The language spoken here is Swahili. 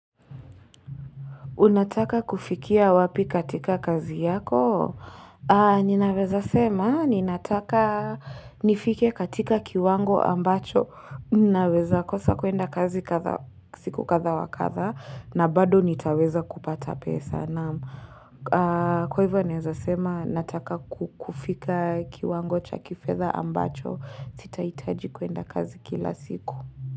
Unataka kufikia wapi katika kazi yako? Ninaweza sema, ninataka nifike katika kiwango ambacho. Unaweza kosa kuenda kazi siku kadha wa kadha na bado nitaweza kupata pesa naam Kwa hivyo, naeza sema, nataka kufika kiwango cha kifedha ambacho. Sitahitaji kuenda kazi kila siku.